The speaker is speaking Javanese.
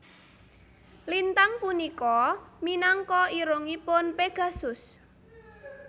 Lintang punika minangka irungipun Pegasus